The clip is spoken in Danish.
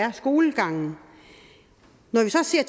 af skolegangen når